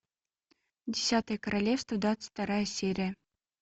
десятое королевство двадцать вторая серия